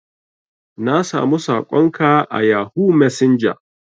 Na samu sakon ka a yahoo messenger.